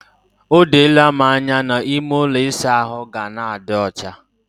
O doola m anya na ime ụlọ ịsa ahụ ga na-adi ọcha.